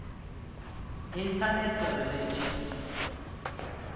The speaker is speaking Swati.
internet relay chat